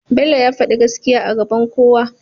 bello ya fadi gaskiya a gaban kowa